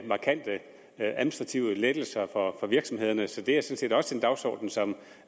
markante administrative lettelser for virksomhederne så det er sådan set også en dagsorden som